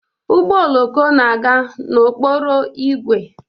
Ụgbọ oloko na-aga n'okporo ígwè